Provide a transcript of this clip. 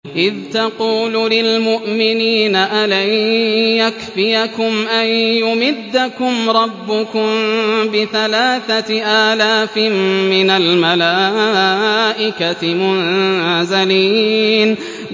إِذْ تَقُولُ لِلْمُؤْمِنِينَ أَلَن يَكْفِيَكُمْ أَن يُمِدَّكُمْ رَبُّكُم بِثَلَاثَةِ آلَافٍ مِّنَ الْمَلَائِكَةِ مُنزَلِينَ